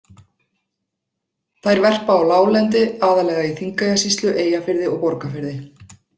Þær verpa á láglendi, aðallega í Þingeyjarsýslu, Eyjafirði og Borgarfirði.